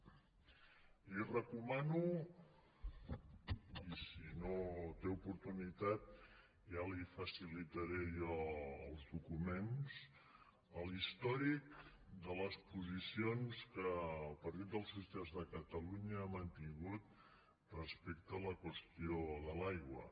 li recomano i si no en té oportunitat ja li facilitaré jo els documents l’històric de les posicions que el partit dels socialistes de catalunya ha mantingut respecte a la qüestió de l’aigua